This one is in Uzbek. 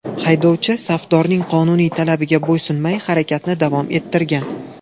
Haydovchi safdorning qonuniy talabiga bo‘ysunmay harakatni davom ettirgan.